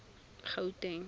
gauteng